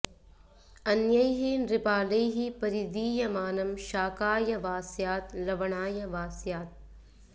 अन्यैः नृपालैः परिदीयमानं शाकाय वा स्यात् लवणाय वा स्यात्